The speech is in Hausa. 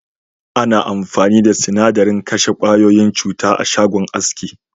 Ana amfani da sinadarin kashe ƙwayoyin cuta a'shagon aski.